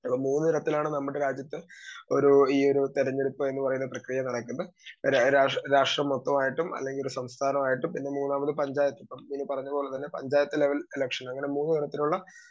Speaker 2 മൂന്ന് തരത്തിലാണ് നമ്മുടെ രാജ്യത്ത് ഒരു ഈയൊരു തെരഞ്ഞെടുപ്പ് എന്നുപറയുന്ന പ്രക്രിയ നടക്കുന്ന രാഷ്ട്ര മൊത്തമായിട്ടും അല്ലെങ്കി ഒരു സംസ്ഥാനമായിട്ടും പിന്നെ മൂന്നാമത് പഞ്ചായത്ത്. ഇപ്പൊ പറഞ്ഞതുപോലെ തന്നെ പഞ്ചായത്തു ലെവൽ ഇലക്ഷൻ അങ്ങനെ മൂന്നുതരത്തിലുള്ള